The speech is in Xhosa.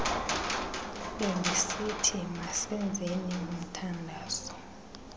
bendisithi masenzeni umthandazo